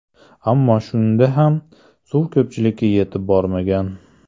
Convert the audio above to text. Ammo shunda ham suv ko‘pchilikka yetib bormagan.